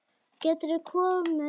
Geturðu komið annað kvöld?